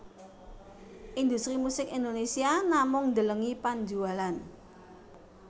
Industri musik Indonésia namung ndelengi panjualan